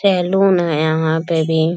salon है यहाँ पे भी --